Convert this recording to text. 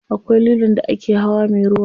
Akwai lilon da ake hawa me ruwa.